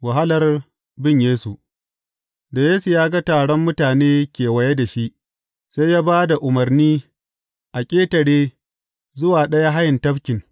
Wahalar bin Yesu Da Yesu ya ga taron mutane kewaye da shi, sai ya ba da umarni a ƙetare zuwa ɗayan hayin tafkin.